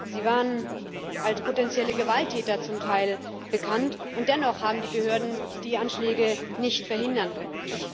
Sie waren zum Teil als potenzielle Gewalttäter bekannt, und dennoch haben die Behörden die Anschläge nicht verhindern können.